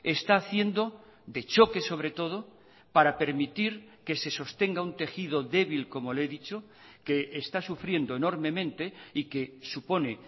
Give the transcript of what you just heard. está haciendo de choque sobre todo para permitir que se sostenga un tejido débil como le he dicho que está sufriendo enormemente y que supone